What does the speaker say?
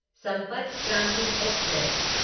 संपर्क क्रांति एक्सप्रेस